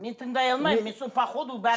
мен тыңдай алмаймын мен сол по ходу